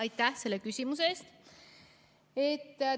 Aitäh selle küsimuse eest!